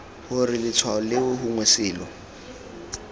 gore letshwao leo gongwe selo